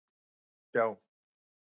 Það var gott að sjá.